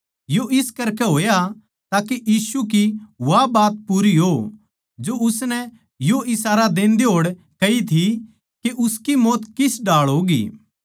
न्यू ज्यांतै होया के यीशु की वा बात पूरी हो जो उसनै यो इशारा देंदे होड़ कही थी के उसकी मौत किस ढाळ होगी